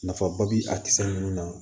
Nafaba bɛ a ninnu na